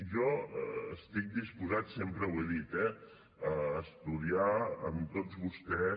jo estic disposat sempre ho he dit eh a estudiar amb tots vostès